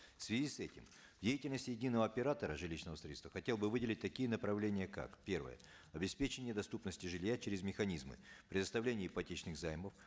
в связи с этим в деятельности единого оператора жилищного строительства хотел бы выделить такие направления как первое обеспечение доступности жилья через механизмы предоставления ипотечных займов